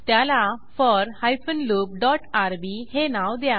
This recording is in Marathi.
त्याला four hyphen loop dot RB हे नाव द्या